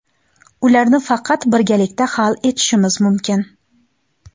Ularni faqat birgalikda hal etishimiz mumkin.